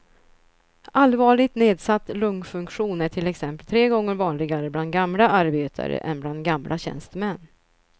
Allvarligt nedsatt lungfunktion är till exempel tre gånger vanligare bland gamla arbetare än bland gamla tjänstemän.